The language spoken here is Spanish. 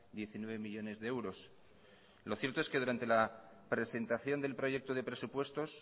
diecinueve millónes de euros lo cierto es que durante la presentación del proyecto de presupuestos